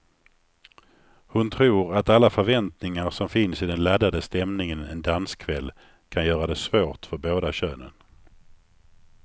Hon tror att alla förväntningar som finns i den laddade stämningen en danskväll kan göra det svårt för båda könen.